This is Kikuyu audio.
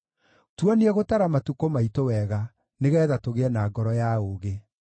Tuonie gũtara matukũ maitũ wega, nĩgeetha tũgĩe na ngoro ya ũũgĩ.